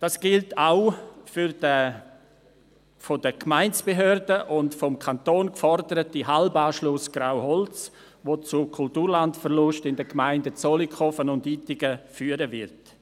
Das gilt auch für den von den Gemeindebehörden und vom Kanton geforderten Halbanschluss Grauholz, der zu einem Kulturlandverlust in den Gemeinden Zollikofen und Ittigen führen wird.